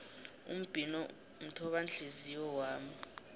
umbhino mthobanhliziyo wami